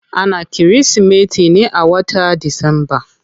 Ana kirismeti ne a wata disamba.